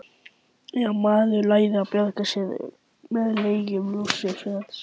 Já, maður lærði að bjarga sér með lygum Lúsífers.